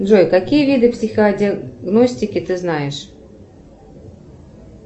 джой какие виды психодиагностики ты знаешь